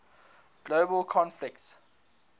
global conflicts